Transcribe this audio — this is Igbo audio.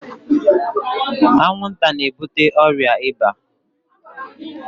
Anwụ nta n'ebute ọrịa ịba.